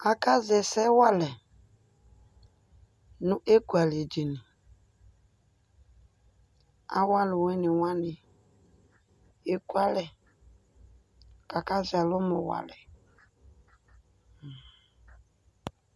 Akazɛ ɛsɛ walɛ nʋ ekualɛ dini, awʋ alʋwɩnɩ wanɩ ekualɛ, kʋ akazɛ ɛlʋmɔ wa alɛ